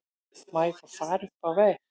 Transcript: Má ég fá far upp á veg?